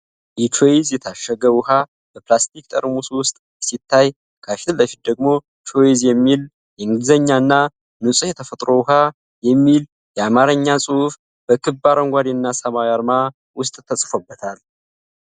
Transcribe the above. የቾይስ የታሸገ ውሀ በፕላስቲክ ጠርሙስ ውስጥ ሲታይ፣ ከፊት ለፊቱ ደግሞ “ቾይስ ” የሚል የእንግሊዝኛና “ንጹህ የተፈጥሮ ውሀ” የሚል የአማርኛ ጽሑፍ በክብ አረንጓዴ እና ሰማያዊ አርማ ውስጥ ተጽፎበታል።